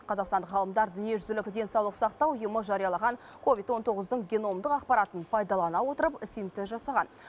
қазақстандық ғалымдар дүниежүзілік денсаулық сақтау ұйымы жариялаған ковид он тоғыздың геномдық ақпаратын пайдалана отырып синтез жасаған